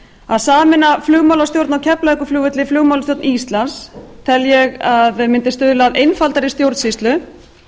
að sameina flugmálastjórn á keflavíkurflugvelli flugmálastjórn íslands tel ég að mundi stuðla að einfaldari stjórnsýslu